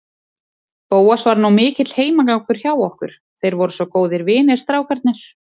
Bóas var nú mikill heimagangur hjá okkur, þeir voru svo góðir vinir, strákarnir.